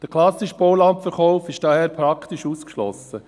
Der klassische Baulandverkauf ist daher praktisch ausgeschlossen.